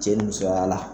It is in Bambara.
Cɛ ni musoya la